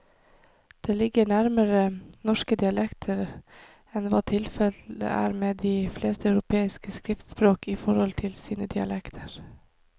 Det ligger nærmere norske dialekter enn hva tilfellet er med de fleste europeiske skriftspråk i forhold til sine dialekter.